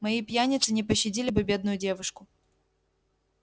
мои пьяницы не пощадили бы бедную девушку